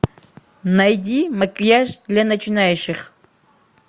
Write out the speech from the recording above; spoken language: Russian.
найди макияж для начинающих